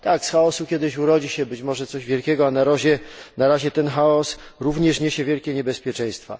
Z chaosu kiedyś urodzi się być może coś wielkiego, a na razie ten chaos również niesie wielkie niebezpieczeństwa.